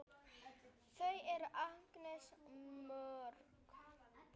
Þau eru ansi mörg.